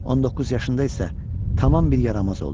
On doqquz yaşında isə tamam bir yaramaz oldu.